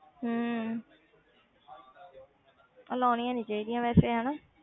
ਹਮ ਇਹ ਲਾਉਣੀਆਂ ਨੀ ਚਾਹੀਦੀਆਂ ਵੈਸੇ ਹਨਾ।